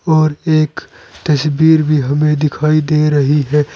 और एक तस्वीर भी हमें दिखाई दे रही है।